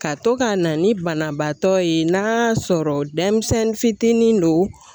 Ka to ka na ni banabaatɔ ye n'a y'a sɔrɔ denmisɛnnin fitinin don